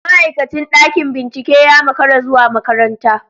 Ma'aikacin ɗakin bincike ya makara zuwa makaranta.